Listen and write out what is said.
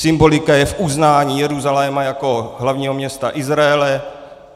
Symbolika je v uznání Jeruzaléma jako hlavního města Izraele.